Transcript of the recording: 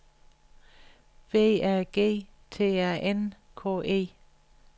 B A G T A N K E